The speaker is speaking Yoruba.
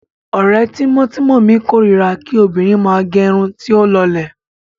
Ọ̀rẹ́ tímọ́tímọ́ mi kórira kí obìnrin máa gẹ irun tí ó lọlẹ̀.